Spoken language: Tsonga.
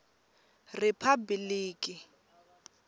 riphabliki